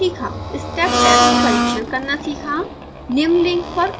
step test परिक्षण करना सीखा